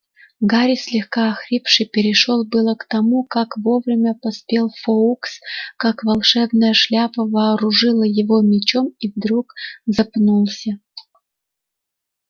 гарри слегка охрипший перешёл было к тому как вовремя поспел фоукс как волшебная шляпа вооружила его мечом и вдруг запнулся